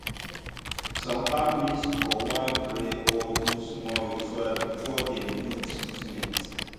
some families go wan pray or do small ritual before dem do treatment.